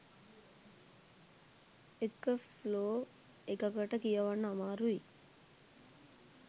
එක ෆ්ලෝ එකකට කියවන්න අමාරුයි